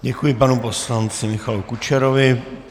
Děkuji panu poslanci Michalu Kučerovi.